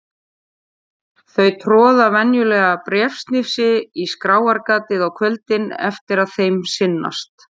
Þau troða venjulega bréfsnifsi í skráargatið á kvöldin eftir að þeim sinnast.